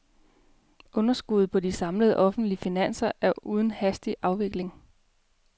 Underskuddet på de samlede offentlige finanser er under hastig afvikling.